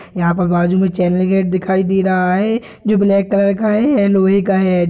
यहाँ पर बाजू में चैन का गेट दिखाई दे रहा है जो ब्लैक कलर का है लोहे का है।